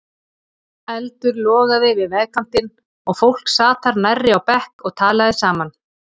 Eldur logaði við vegkantinn og fólk sat þar nærri á bekk og talaði saman.